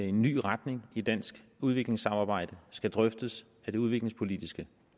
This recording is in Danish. en ny retning i dansk udviklingssamarbejde skal drøftes af det udviklingspolitiske